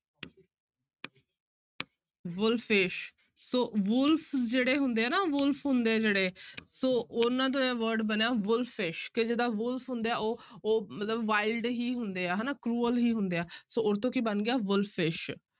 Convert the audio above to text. Wolfish ਸੋ wolf ਜਿਹੜੇ ਹੁੰਦੇ ਨਾ wolf ਹੁੰਦੇ ਆ ਜਿਹੜੇ ਸੋ ਉਹਨਾਂ ਤੋਂ ਇਹ word ਬਣਿਆ wolfish ਕਿ ਜਿੱਦਾਂ wolf ਹੁੰਦੇ ਆ ਉਹ ਉਹ ਮਤਲਬ wild ਹੀ ਹੁੰਦੇ ਆ ਹਨਾ cruel ਹੀ ਹੁੰਦੇ ਆ ਸੋ ਉਹ ਤੋਂ ਕੀ ਬਣ ਗਿਆ wolfish